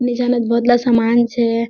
निचनोत बोहोत ला सामान छे।